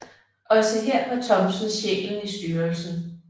Også her var Thomsen sjælen i styrelsen